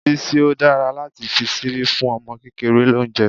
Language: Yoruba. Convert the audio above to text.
Bísí, ó dára láti fi ṣíbí fún ọmọ kékeré lóúnjẹ́.